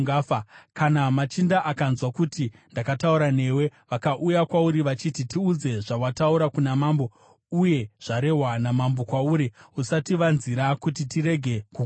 Kana machinda akanzwa kuti ndakataura newe, vakauya kwauri vachiti, ‘Tiudze zvawataura kuna mambo uye zvarehwa namambo kwauri; usativanzira kuti tirege kukuuraya,’